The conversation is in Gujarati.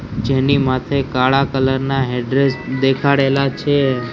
જેની માથે કાળા કલર ના દેખાડેલા છે.